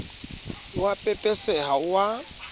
o a pepeseha o a